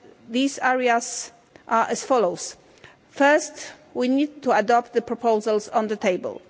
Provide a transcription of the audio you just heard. These areas are as follows First, we need to adopt the proposals on the table.